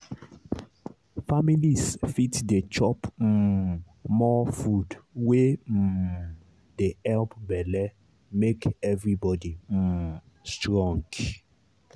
families fit dey chop um more food wey um dey help belle make everybody um strong.